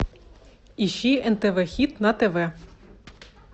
ищи нтв хит на тв